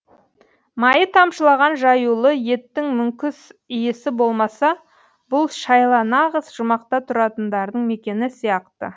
майы тамшылаған жаюлы еттің мүңкіс иісі болмаса бұл шайла нағыз жұмақта тұратындардың мекені сияқты